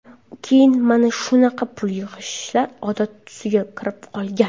Keyin mana shunaqa pul yig‘ishlar odat tusiga kirib qolgan.